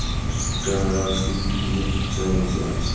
এখানে একটা নিজের খাঁচায় বসে আছে।